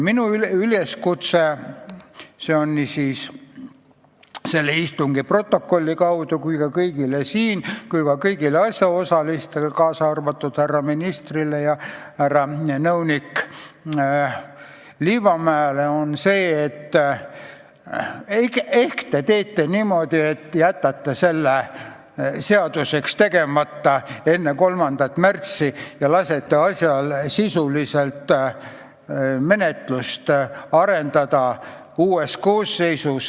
Minu üleskutse nii selle istungi stenogrammi kaudu kui ka otse teile siin, samuti kõigile asjaosalistele, kaasa arvatud härra ministrile ja härra nõunik Liivamäele, on see, et ehk te teete niimoodi, et jätate selle eelnõu enne 3. märtsi seaduseks tegemata ja lasete sisulist menetlust arendada uuel koosseisul.